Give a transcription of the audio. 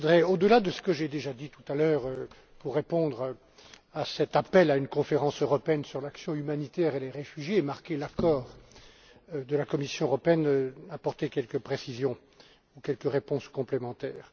Au delà de ce que j'ai déjà dit tout à l'heure pour répondre à cet appel en faveur d'une conférence européenne sur l'action humanitaire et les réfugiés, et marquer l'accord de la Commission, je voudrais apporter quelques précisions ou quelques réponses complémentaires.